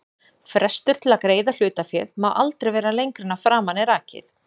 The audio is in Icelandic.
Frestur til að greiða hlutaféð má aldrei vera lengra en að framan er rakið.